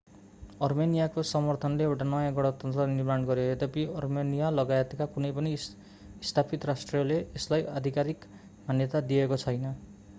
अर्मेनियाको समर्थनले एउटा नयाँ गणतन्त्र निर्माण गरियो यद्यपि अर्मेनियालगायतका कुनै पनि स्थापित राष्ट्रले यसलाई आधिकारिक मान्यता दिएको छैन